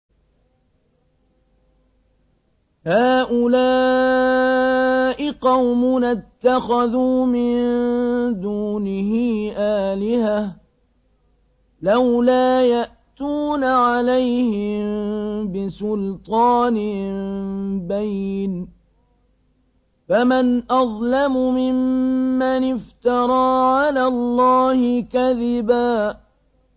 هَٰؤُلَاءِ قَوْمُنَا اتَّخَذُوا مِن دُونِهِ آلِهَةً ۖ لَّوْلَا يَأْتُونَ عَلَيْهِم بِسُلْطَانٍ بَيِّنٍ ۖ فَمَنْ أَظْلَمُ مِمَّنِ افْتَرَىٰ عَلَى اللَّهِ كَذِبًا